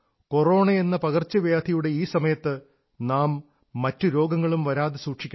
കൊറോണയെന്ന പകർച്ചവ്യാധിയുടെ ഈ സമയത്ത് നാം മറ്റു രോഗങ്ങളും വരാതെ സൂക്ഷിക്കണം